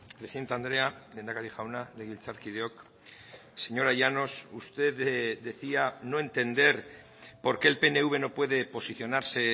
presidente andrea lehendakari jauna legebiltzarkideok señora llanos usted decía no entender por qué el pnv no puede posicionarse